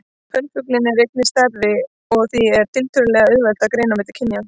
Kvenfuglinn er einnig stærri og því er tiltölulega auðvelt að greina á milli kynjanna.